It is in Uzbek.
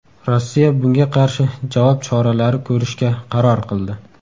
Rossiya bunga qarshi javob choralari ko‘rishga qaror qildi.